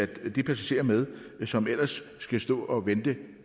de passagerer med som ellers skulle stå og vente